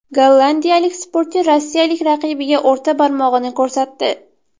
Gollandiyalik sportchi rossiyalik raqibiga o‘rta barmog‘ini ko‘rsatdi.